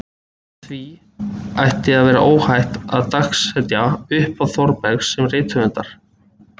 Með því ætti að vera óhætt að dagsetja upphaf Þórbergs sem rithöfundar.